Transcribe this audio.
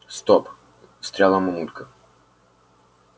стоп встряла мамулька